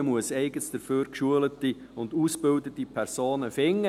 Man muss eigens dafür geschulte und ausgebildete Personen finden.